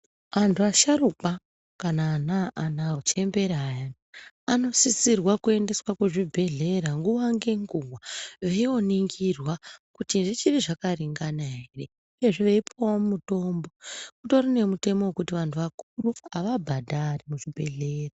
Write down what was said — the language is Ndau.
Andu asharukwa kana anhu achembera ayani anosisirwa kuendeswa kuzvibhedhlera nguwa nenguwa veyinoningirwa kuti zvichiri zvakaringana here uyezve veyipuwawo mutombo kutori nemutemo wekuti vandu vakuru havabhadhari muzvibhedhlera.